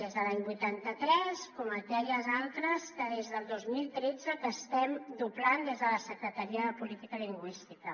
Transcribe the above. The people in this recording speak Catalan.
des de l’any vuitanta tres com aquelles altres que des del dos mil tretze estem doblant des de la secretaria de política lingüística